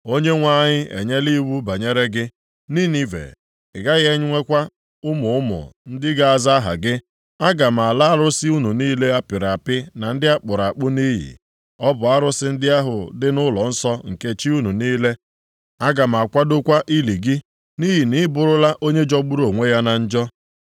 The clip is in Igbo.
Onyenwe anyị enyela iwu ya banyere gị, Ninive: “Ị gaghị enwekwa ụmụ ụmụ ndị ga-aza aha gị. Aga m ala arụsị unu niile a pịrị apị na ndị a kpụrụ akpụ nʼiyi, bụ arụsị ndị ahụ dị nʼụlọnsọ nke chi unu niile. Aga m akwadokwa ili gị, nʼihi na ị bụrụla onye jọgburu onwe ya na njọ.”